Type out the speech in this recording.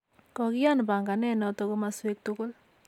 Kokian panganet natak komaswek tukul